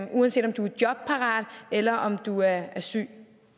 uanset om du er jobparat eller om du er syg